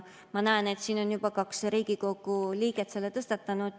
Ma näen, et siin on juba kaks Riigikogu liiget selle tõstatanud.